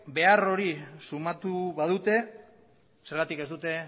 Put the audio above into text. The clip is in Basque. behar hori sumatu badute zergatik ez dute